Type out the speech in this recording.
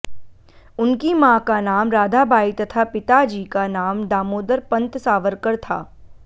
उनकी मां का नाम राधाबाई तथा पिता जी का नाम दामोदर पन्त सावरकर था